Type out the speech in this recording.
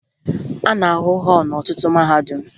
A na-ahụ họọlụ n'ọtụtụ mahadum